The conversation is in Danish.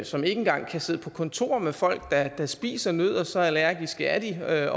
som ikke engang kan sidde på kontor med folk der spiser nødder så allergiske er